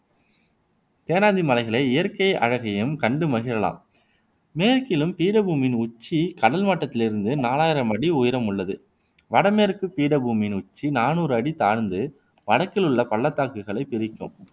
தேனாந்தி மலைகளின் இயற்கை அழகையும் கண்டு மகிழலாம் மேற்கிலும் பீடபூமியின் உச்சி கடல் மட்டத்திலிருந்து நாலாயிரம் அடி உயரமுள்ளது வடமேற்குப் பீடபூமியின் உச்சி நானூறு அடி தாழ்ந்து வடக்கிலுள்ள பள்ளத்தாக்குகளைப் பிரிக்கும்